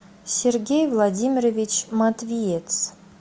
сергей владимирович матвиец